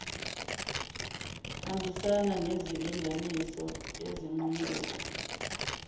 hambisana nezilinganiso ezinqumeka